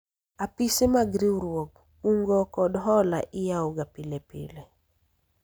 apise mag riwruog kungo kod hola iyawoga pile ka pile